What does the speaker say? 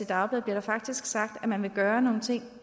dagblad hvor der faktisk blev sagt at man ville gøre nogle ting at